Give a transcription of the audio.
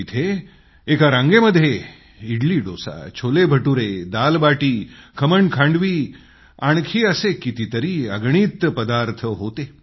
तिथं एका रांगेमध्ये इडलीडोसा छोलेभटुरे दालबाटी खमणखांडवी आणखी असे कितीतरी अगणित पदार्थ होते